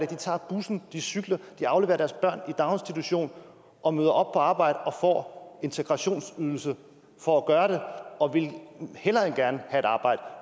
de tager bussen de cykler de afleverer deres børn i daginstitution og møder op på arbejde og får integrationsydelse for at gøre det og vil hellere end gerne have et arbejde